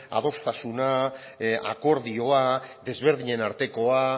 adostasuna akordioa desberdinen artekoa